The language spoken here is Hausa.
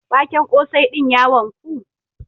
Waken ƙosai din ya wanku?